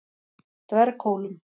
Dverghólum